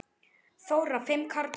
Þóra: Fimm karlar?